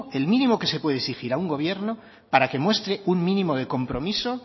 el mínimo que se puede exigir a un gobierno para que muestre un mínimo de compromiso